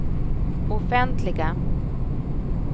offentliga